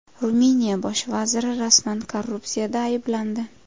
Ruminiya bosh vaziri rasman korrupsiyada ayblandi.